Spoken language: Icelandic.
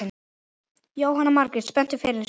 Jóhanna Margrét: Spenntur fyrir þessu?